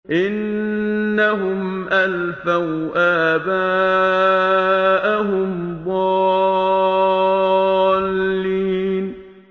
إِنَّهُمْ أَلْفَوْا آبَاءَهُمْ ضَالِّينَ